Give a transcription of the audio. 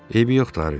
Eybi yoxdur, Harvi.